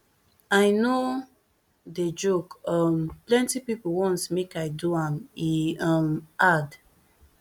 i no dey joke um plenty pipo want make i do am e um add